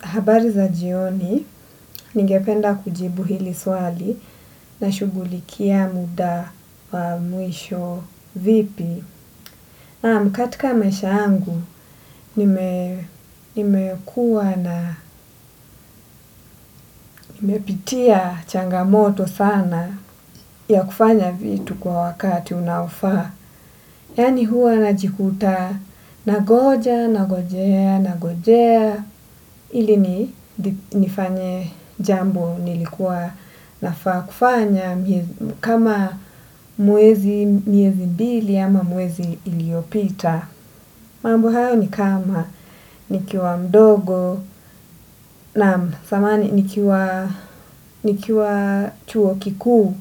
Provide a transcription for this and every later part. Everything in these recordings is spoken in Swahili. Habari za jioni, ningependa kujibu hili swali na shughulikia muda wa mwisho vipi. Naam katika maisha yangu, nimekuwa na nimepitia changamoto sana ya kufanya kitu kwa wakati unaofaa. Yaani huwa najikuta nangoja nangojea nangojea ili nifanye jambo nilikuwa nafaa kufanya kama mwezi miezi mbili ama mwezi iliyopita. Mambo hayo ni kama, nikiwa mdogo naam samahani nikiwa chuo kikuu,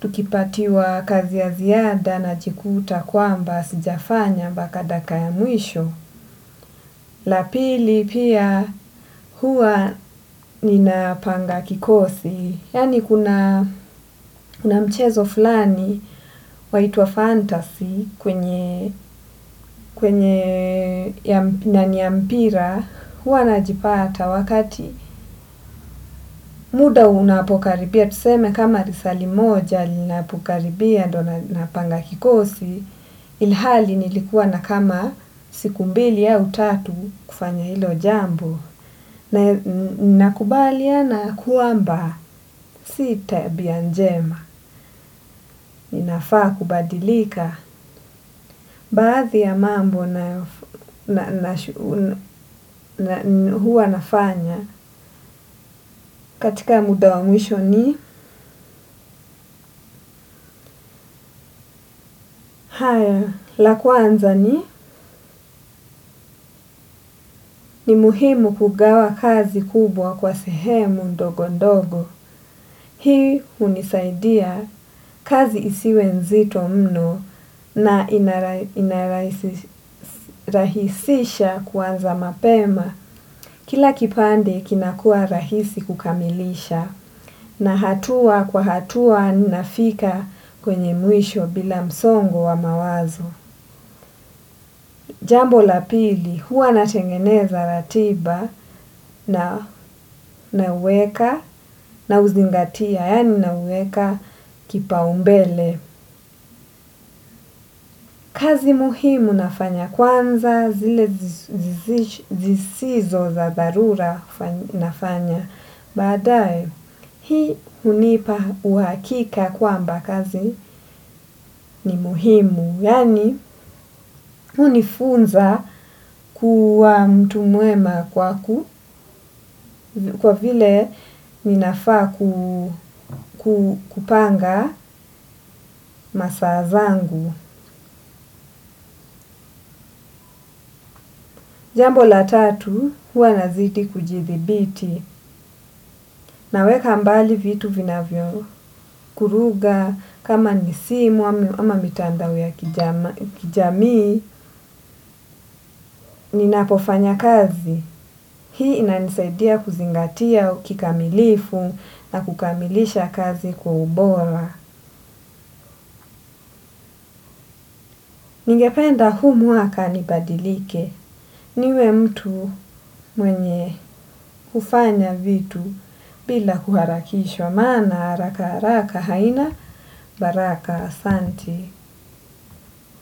tukipatiwa kazi ya ziada najikuta kwamba, sijafanya mpaka dakika ya mwisho. La pili pia huwa ninapanga kikosi, yaani kuna mchezo fulani waitwa uw fantasy kwenye na niya mpira huwa najipata wakati muda unapokaribia tuseme kama risali moja linapokaribia ndio napanga kikosi, ilhali nilikuwa na kama siku mbili au tatu kufanya hilo jambo. Na nina kubaliana kwamba si tabia njema. Ninafaa kubadilika baadhi ya mambo na huwa nafanya. Katika muda wa mwisho ni la kwanza ni ni muhimu kugawa kazi kubwa kwa sehemu ndogondogo hii hunisaidia kuwa kazi isiwe nzito mno. Na inarahisisha kuanza mapema kila kipande kinakuwa rahisi kukamilisha. Na hatua kwa hatua ninafika kwenye mwisho bila msongo wa mawazo. Jambo la pili huwa natengeneza ratiba na huweka na huzingatia yaani na huweka kipaumbele. Kazi muhimu nafanya kwanza zile zisizo za dharura nafanya baadaye hii hunipa uhakika kwamba kazi ni muhimu yaani hii hunifunza kuwa mtu mwema kwa ku kwa vile ninafaa kupanga masaa zangu jambo la tatu huwa nazidi kujidhibiti. Naweka mbali vitu vinavyo kuruga, kama ni simu ama mitandao ya kijamii, ninapofanya kazi. Hii inanisaidia kuzingatia kikamilifu na kukamilisha kazi kwa ubora. Ningependa huu mwaka nibadilike. Niwe mtu mwenye kufanya vitu bila kuharakishwa. Maana haraka haraka haina baraka asanti.